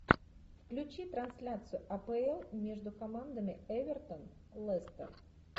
включи трансляцию апл между командами эвертон лестер